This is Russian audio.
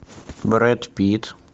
брэд питт